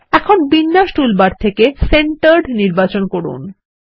এখন বিন্যাস টুলবার থেকে সেন্টার্ড নির্বাচন করুন